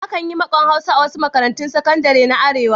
Akan yi makon Hausa a wasu makarantun sakadare na Arewa.